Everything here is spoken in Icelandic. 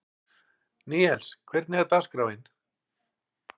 Níels, hvernig er dagskráin?